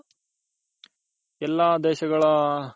ಎಲ್ಲ ದೇಶಗಳ